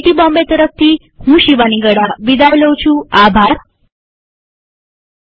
IIT Bombay તરફથી હું શિવાની ગડા વિદાય લઉં છુંટ્યુ્ટોરીઅલમાં ભાગ લેવા આભાર